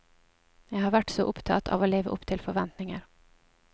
Jeg har vært så opptatt av å leve opp til forventninger.